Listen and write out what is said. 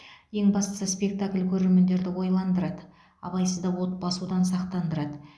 ең бастысы спектакль көрермендерді ойландырады абайсызда от басудан сақтандырады